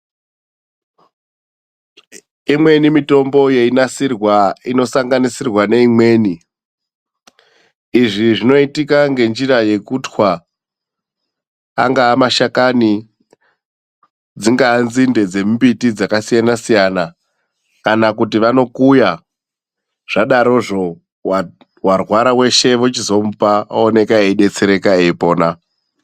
Imweni mitombo yeinasirwa inosanganisirwa neimweni. Izvi zvinoitika ngenjira yekutwa, angaa mashakani; dzingaa nzinde dzemumbiti dzakasiyana siyana, kana kuti vanokuya. Zvadarozvo, warwara weshe vochizomupa ooneka eidetsereka eipona.